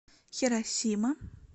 хиросима